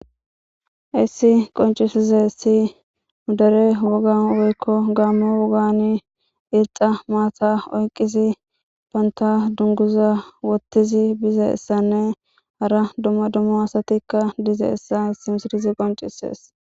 Haysi qoncisizays nu dere woga woykko gaammo wogani irxa maata oyqisi banta dunguza wottizi bizayssanne hara dumma dumma asatikka dizayissa haysi misilez qoncisees